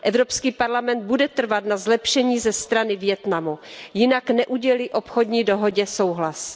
Evropský parlament bude trvat na zlepšení ze strany Vietnamu, jinak neudělí obchodní dohodě souhlas.